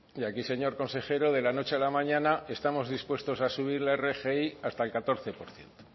y aquí señor consejero de la noche a la mañana estamos dispuestos a subir la rgi hasta el catorce por ciento